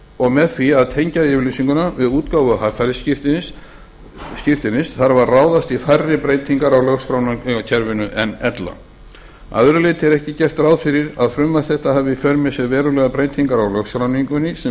og með því að tengja yfirlýsinguna við útgáfu haffærisskírteinis þarf að ráðast í færri breytingar á lögskráningarkerfinu en ella að öðru leyti er ekki gert ráð fyrir því að frumvarp þetta hafi í för með sér verulegar breytingar á lögskráningunni sem